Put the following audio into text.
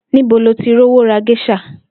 Níbo lo ti rówó ra ges̩à?